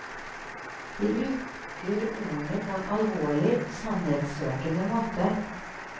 De bruker ordene på en alvorlig sannhetssøkende måte.